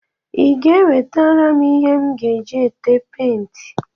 Ị ga-enwetara m ihe m ga-eji ete penti?